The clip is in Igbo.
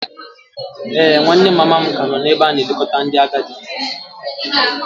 Ee, nwanne mama m ka nọ n'ebe a na-elekọta ndị agadi.